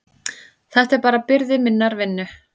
Þetta er bara byrði minnar vinnu.